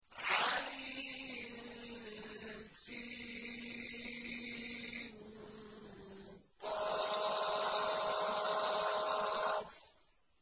عسق